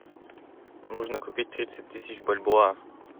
нужно купить тридцать тысяч бальбоа